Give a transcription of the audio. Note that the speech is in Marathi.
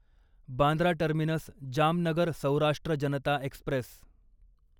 Bandra terminus Jamnagar Saurashtra Janata Express